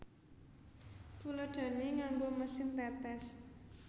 Tuladhané nganggo mesin tetes